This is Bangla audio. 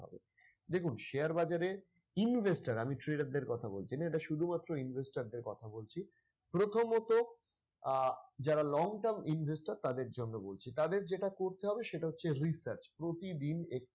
দেখুন share বাজারে investor আমি trador দের কথা বলছিনা এটা শুধুমাত্র investor দের কথা বলছি প্রথমত আহ যারা long-term investor তাদের জন্য বলছি তাদের যেটা করতে হবে সেটা হচ্ছে research প্রতিদিন এক্টু